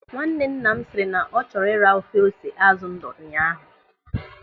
Nwannenna m sịrị na ọ chọrọ ịra ofe ose azụ ndụ ụnyaahụ.